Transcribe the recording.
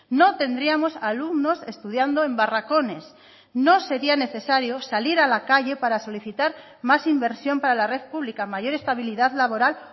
no tendríamos a alumnos estudiando en barracones no sería necesario salir a la calle para solicitar más inversión para la red pública mayor estabilidad laboral